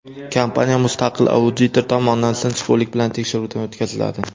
Kompaniya mustaqil auditor tomonidan sinchkovlik bilan tekshiruvdan o‘tkaziladi.